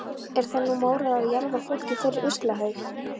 Er það nú mórall að jarða fólk í fyrrum ruslahaug.